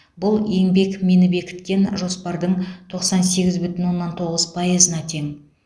бұл еңбекмині бекіткен жоспардың тоқсан сегіз бүтін оннан тоғыз пайызына тең